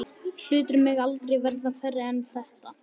Hlutir mega aldrei verða færri en þetta.